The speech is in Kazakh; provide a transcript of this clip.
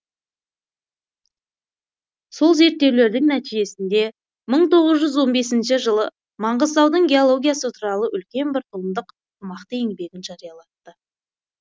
сол зерттеулердің нәтижесінде мың тоғыз жүз он бесінші жылы маңғыстаудың геологиясы туралы үлкен бір томдық қомақты еңбегін жариялатты